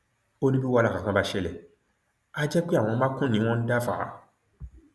ó ní bí wàhálà kankan bá ṣẹlẹ àá jẹ pé àwọn makùn ni wọn ń dá fà á